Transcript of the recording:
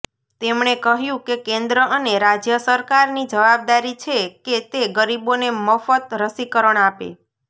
તેમણે કહ્યું કે કેન્દ્ર અને રાજ્ય સરકારની જવાબદારી છે કે તે ગરીબોને મફત રસીકરણ આપે